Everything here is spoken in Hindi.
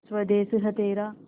स्वदेस है तेरा